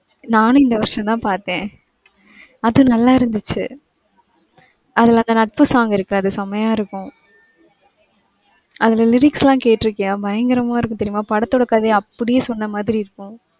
நானும் இந்த வருஷம்தான் பாத்தேன் அது நல்லா இருந்துச்சு. அதுல அந்த நட்பு song இருக்குல்ல அது செமையா இருக்கும். அதுல lyrics எல்லாம் கேட்ருக்கீயா பயங்கரமா இருக்கும் தெரியுமா படத்தோட கதைய அப்டியே சொன்னமாதிரி இருக்கும்.